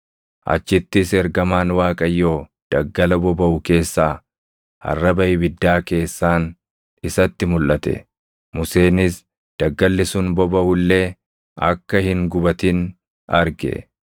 Achittis Ergamaan Waaqayyoo daggala bobaʼu keessaa arraba ibiddaa keessaan isatti mulʼate. Museenis daggalli sun bobaʼu illee akka hin gubatin arge.